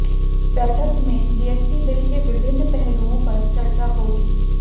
बैठक में GST bill के विभिन्न पहलुओं पर चर्चा होगी